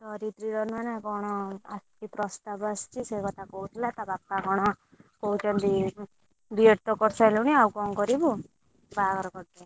ଧରିତ୍ରୀର ନୁହନା କଣ? ଆସିଛି ପ୍ରସ୍ତାବ ଆସିଛି ସେ କଥା କହୁଥିଲା ତା ବାପା କଣ, କହୁଛନ୍ତି B.Ed ତ କରିସାରିଲୁଣି ଆଉ କଣ କରିବୁ? ବାହାଘର କରିଦେବି।